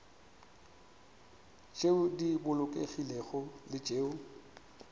tšeo di bolokegilego le tšeo